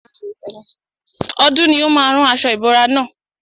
Ọdún ni ó má a rán aṣo ìbora na.